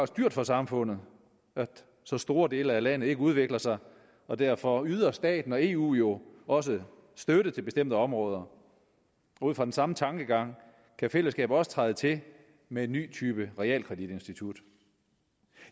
dyrt for samfundet at så store dele af landet ikke udvikler sig og derfor yder staten og eu jo også støtte til bestemte områder ud fra den samme tankegang kan fællesskabet også træde til med en ny type realkreditinstitut